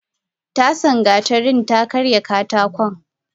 Tasa gatarin ta karya katakon.